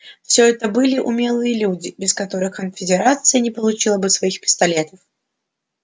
всё это были умелые люди без которых конфедерация не получила бы своих пистолетов